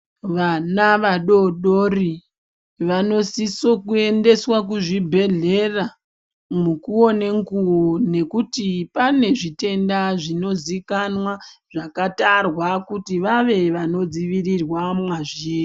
Vana vadodori vanosiso kuyendeswa kuzvibhedhlera mukuwo nenguwo nekuti pane zvitenda zvinozikanwa zvakatarwa kuti vave vanodzivirira mazviri.